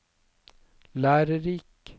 lærerik